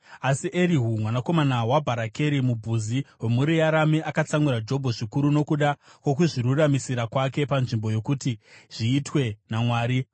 Asi Erihu mwanakomana waBharakeri muBhuzi, wemhuri yaRami, akatsamwira Jobho zvikuru nokuda kwokuzviruramisira kwake panzvimbo yokuti zviitwe naMwari.